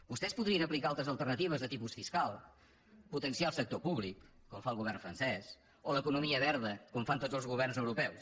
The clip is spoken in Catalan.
vostès podrien aplicar altres alternatives de tipus fiscal potenciar el sector públic com fa el govern francès o l’economia verda com fan tots els governs europeus